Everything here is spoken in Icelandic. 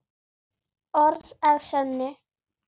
Orð að sönnu.